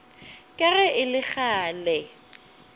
ka ge e le kgale